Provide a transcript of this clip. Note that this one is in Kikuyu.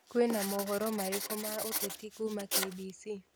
kwĩna mohoro marĩkũ ma ũteti kuuma K.B.C